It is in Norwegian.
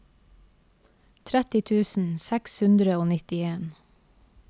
tretti tusen seks hundre og nittien